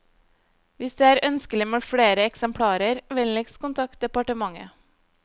Hvis det er ønskelig med flere eksemplarer, vennligst kontakt departementet.